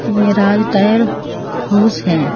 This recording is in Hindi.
ये राज टायर हाउस है।